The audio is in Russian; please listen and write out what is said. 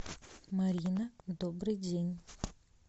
марина добрый день